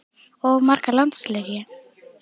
Of marga landsleiki?